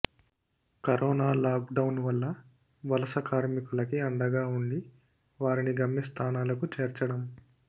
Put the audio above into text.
corona lockdown లో వలస కార్మికులకి అండగా ఉండి వారిని గమ్యస్థానాలకు చేర్చడం